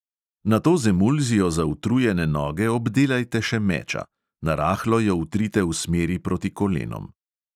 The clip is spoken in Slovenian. Nato z emulzijo za utrujene noge obdelajte še meča – narahlo jo vtrite v smeri proti kolenom.